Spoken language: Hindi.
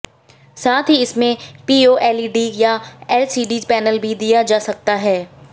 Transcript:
साथ ही इसमें पीओएलईडी या एलसीडी पैनल भी दिया जा सकता है